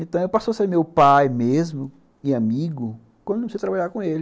Então eu passo a ser meu pai mesmo, e amigo, quando eu comecei a trabalhar com ele.